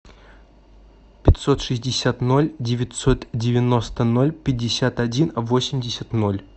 пятьсот шестьдесят ноль девятьсот девяносто ноль пятьдесят один восемьдесят ноль